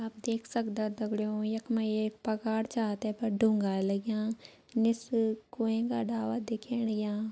आप देख सक्दा दगड़ियों यख मा एक पगार छा तैपर डुंगा लग्यां निस कुवें का डाला दिखेण लग्यां।